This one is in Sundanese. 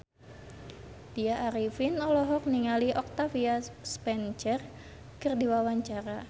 Tya Arifin olohok ningali Octavia Spencer keur diwawancara